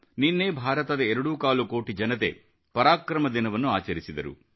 ನಿನ್ನೆ ಭಾರತದ ಎರಡೂ ಕಾಲು ಕೋಟಿ ಜನತೆ ಪರಾಕ್ರಮ ದಿನವನ್ನು ಆಚರಿಸಿದರು